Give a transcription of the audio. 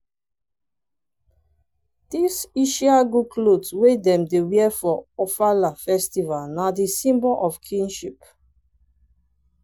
di ishi agu clot wey dem wear for ofala festval na di symbol of kingship.